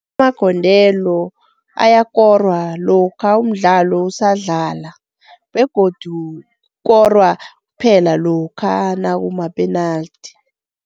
Amagondelo ayakorwa lokha umdlalo usadlala begodu kukorwa kuphela lokha nakumapenaldi.